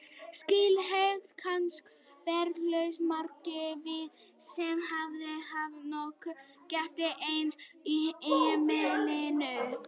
Slíka hegðun kannast eflaust margir við sem hafa haft nokkra ketti í einu á heimilinu.